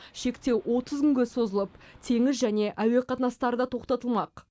шектеу отыз күнге созылып теңіз және әуе қатынастары да тоқтатылмақ